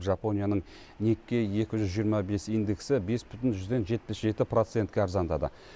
жапонияның никкей екі жүз жиырма бес индексі бес бүтін жүзден жетпіс жеті процентке арзандады